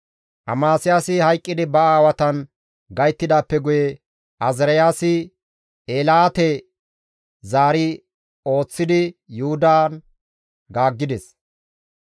Amasiyaasi hayqqidi ba aawatan gayttidaappe guye Azaariyaasi Eelaate zaari ooththidi Yuhudan gaaggides.